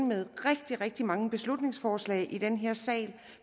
med rigtig rigtig mange beslutningsforslag i den her sal